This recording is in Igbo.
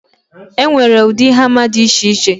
E nwere ụdị hama dị iche iche